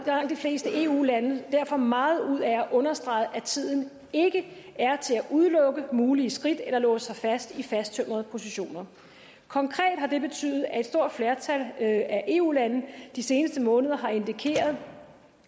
fleste eu lande derfor meget ud af at understrege at tiden ikke er til at udelukke mulige skridt eller låse sig fast i fasttømrede positioner konkret har det betydet at et stort flertal af eu lande de seneste måneder har indikeret